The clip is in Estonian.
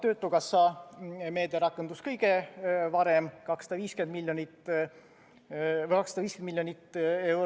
Töötukassa meede rakendus kõige varem, see on 250 miljonit.